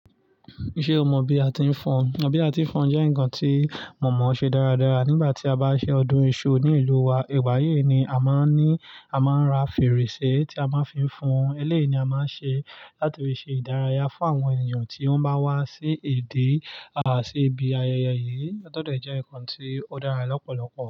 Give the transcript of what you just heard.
Ṣé o mọ bí a ti ń fọn? Bí a ti ń fọn jẹ́ nǹkan tí mọ̀ọ́mọ ṣe dáradára nígbà tí a bá ṣe ọdún iṣu ní ìlú wa. Ìgbàyíì ni a máa ń ní, a máa ń ra fèrèsé tí a máa ń fi fọn. Eléyìí ni a máa ń ṣe láti fi ṣe ìdárayá fún àwọn ènìyàn tí wọ́n bá wá sí ibi àti sí ibi ayẹyẹ yìí. Tó dẹ̀ jẹ́ nǹkan tí ó dára lọ́pọ̀lọpọ̀